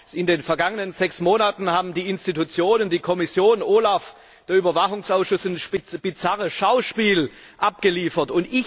Aber in den vergangenen sechs Monaten haben die Institutionen, die Kommission, OLAF und der Überwachungsausschuss ein bizarres Schauspiel abgeliefert.